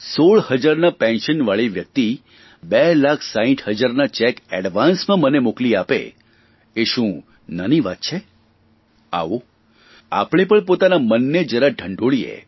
16 હજારના પેન્શનવાળી વ્યકતિ બે લાખ 60 હજારના ચેક એડવાન્સમાં મને મોકલી આપે એ શું નાની વાત છે આવો આપણે પણ પોતાના મનને જરા ઢંઢોળીએ